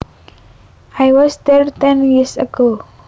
I was there ten years ago